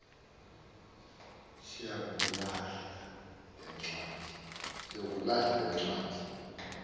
sukuyilahla le ncwadi